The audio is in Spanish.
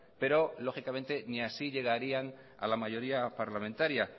pero lógicamente ni así llegarían a la mayoría parlamentaria